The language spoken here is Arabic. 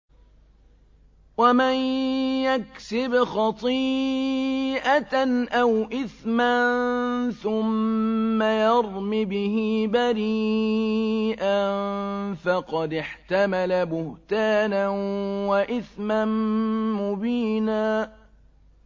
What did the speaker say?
وَمَن يَكْسِبْ خَطِيئَةً أَوْ إِثْمًا ثُمَّ يَرْمِ بِهِ بَرِيئًا فَقَدِ احْتَمَلَ بُهْتَانًا وَإِثْمًا مُّبِينًا